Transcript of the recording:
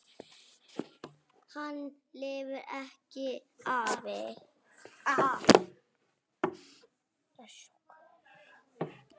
Hann lifði ekki af.